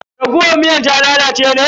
Raguwar miyar ta lalace ne?